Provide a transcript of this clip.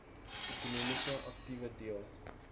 ekonomiese aktiewe deel